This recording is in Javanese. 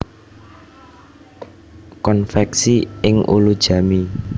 Konveksi ing Ulujami